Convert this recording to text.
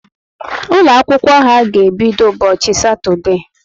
Ụlọ akwụkwọ ha ga ebido ụbọchị satode